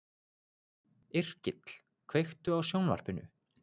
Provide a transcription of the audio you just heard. Yrkill, kveiktu á sjónvarpinu.